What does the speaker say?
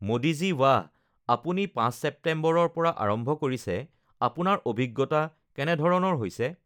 মোদী জী ৱাহ. আপুনি ৫ ছেপ্টেম্বৰৰ পৰা আৰম্ভ কৰিছে, আপোনাৰ অভিজ্ঞতা কেনেধৰণৰ হৈছে?